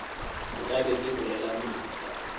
nka be ke bolela maaka